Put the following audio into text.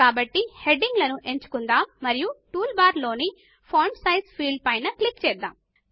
కాబట్టి హెడింగ్ లను ఎంచుకున్దాము మరియు టూల్ బార్ లోని ఫాంట్ సైజ్ ఫీల్డ్ పైన క్లిక్ చేద్దాము